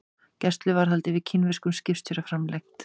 Gæsluvarðhald yfir kínverskum skipstjóra framlengt